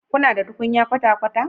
Kuna da tukunya kwata-kwata?